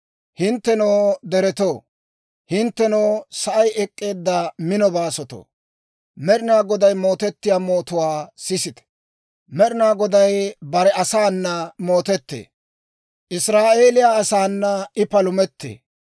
Hinttenoo deretoo, hinttenoo, sa'ay ek'k'eedda mino baasotoo, Med'ina Goday mootiyaa mootuwaa sisite. Med'ina Goday bare asaana mootettee; Israa'eeliyaa asaana I palumettee.»